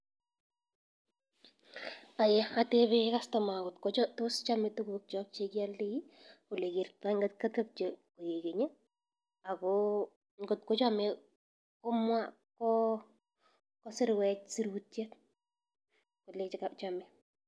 Atebe customa kot kotos chome tukukiok chekioldoi oekertoi kot kotebche koikeny ak ko ngot ko chome kosirwech surutiet kolee chomee.